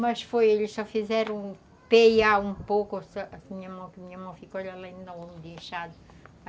Mas foi, eles só fizeram peiar um pouco a minha mão,